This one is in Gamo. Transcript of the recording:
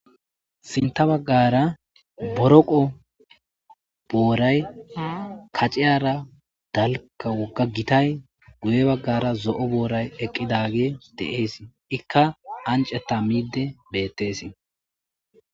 sinta baggara boroqo boray kaciyara daliga wogga gitay guye baggara zo'o booray eqqidage de7ees ikka aniceta miide bettesi